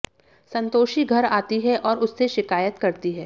संतोषी घर आती है और उससे शिकायत करती है